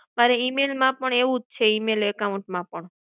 અરે, email માં પણ એવું જ છે. email account માં પણ.